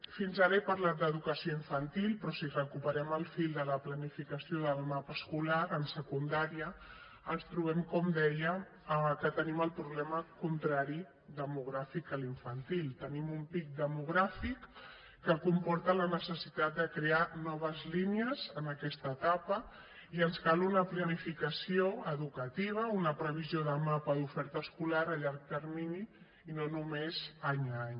fins ara he parlat d’educació infantil però si recuperem el fil de la planificació del mapa escolar en secundària ens trobem com deia que tenim el problema contrari demogràfic que a la infantil tenim un pic demogràfic que comporta la necessitat de crear noves línies en aquesta etapa i ens cal una planificació educativa una previsió de mapa d’oferta escolar a llarg termini i no només any a any